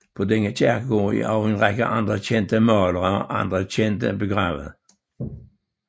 På denne kirkegård er også en række andre kendte malere og andre kendte begravet